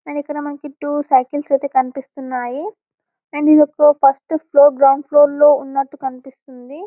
and ఇక్కడ మనకి two cycle అయితే కనిపిస్తున్నాయి అండ్ ఇదొక ఫస్ట్ ఫ్లోర్ గ్రౌండ్ ఫ్లోర్ లో ఉన్నట్టు కనిపిస్తుంది --